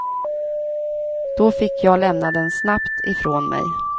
Då fick jag lämna den snabbt ifrån mig.